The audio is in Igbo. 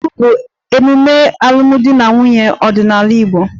Igba nkwu' bụ emume alụmdi na nwunye ọdịnala Igbo